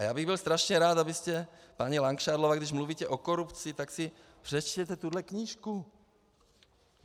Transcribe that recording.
A já bych byl strašně rád, abyste, paní Langšádlová, když mluvíte o korupci, tak si přečtěte tuhle knížku.